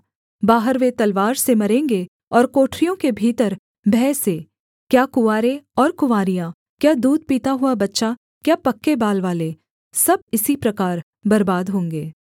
बाहर वे तलवार से मरेंगे और कोठरियों के भीतर भय से क्या कुँवारे और कुँवारियाँ क्या दूध पीता हुआ बच्चा क्या पक्के बाल वाले सब इसी प्रकार बर्बाद होंगे